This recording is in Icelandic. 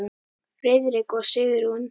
Friðrik og Sigrún.